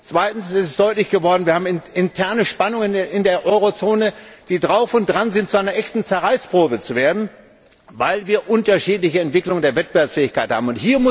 Zweitens ist deutlich geworden, dass wir interne Spannungen in der Eurozone haben, die drauf und dran sind, zu einer echten Zerreißprobe zu führen, weil wir unterschiedliche Entwicklungen der Wettbewerbsfähigkeit haben.